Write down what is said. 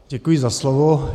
Děkuji za slovo.